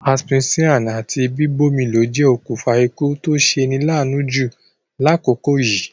Asphyxia àti bíbómilo je okùnfa ikú to seni laanu ju lákòkò yìí